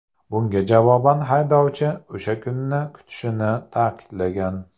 Bunga javoban haydovchi o‘sha kunni kutishini ta’kidlagan.